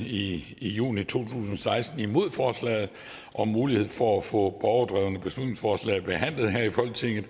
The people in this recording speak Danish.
i juni to tusind og seksten imod forslaget om mulighed for at få borgerdrevne beslutningsforslag behandlet her i folketinget